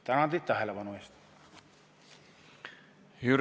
Tänan teid tähelepanu eest!